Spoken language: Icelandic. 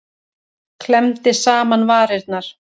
Klemmdi saman varirnar.